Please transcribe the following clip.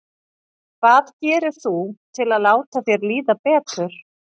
Hvað gerir þú til að láta þér líða betur?